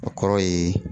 O kɔrɔ ye